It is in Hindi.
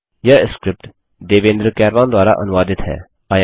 httpspoken tutorialorgNMEICT Intro यह स्क्रिप्ट देवेन्द्र कैरवान द्वारा अनुवादित है